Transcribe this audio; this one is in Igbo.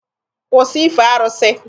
Kwụsị ife arụsị!